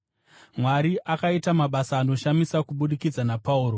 Mwari akaita mabasa anoshamisa kubudikidza naPauro,